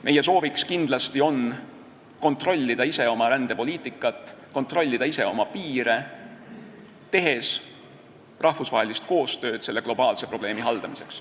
Meie soov on kindlasti ise kontrollida oma rändepoliitikat, kontrollida ise oma piire, tehes rahvusvahelist koostööd selle globaalse probleemi haldamiseks.